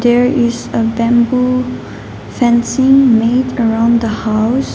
there is a bamboo fencing made around the house.